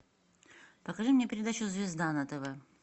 покажи мне передачу звезда на тв